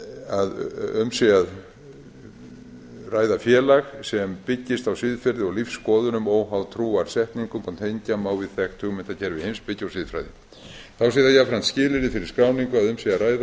að um sé ræða félag sem byggist á siðferði og lífsskoðunum óháð trúarsetningum og tengja má við þekkt hugmyndakerfi heimspeki og siðfræði þá sé það jafnframt skilyrði fyrir skráningu að um sé að ræða